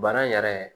Bana in yɛrɛ